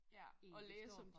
Egentlig står for